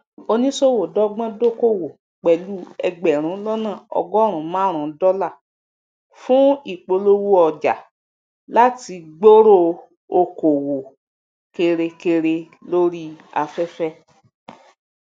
oníṣòwò dógbón dókòwò pẹlú ẹgbẹrún lọnà ọgọrun marun dọlà fún ìpolówó ọjà láti gbooro okoowo kerekere lori afefe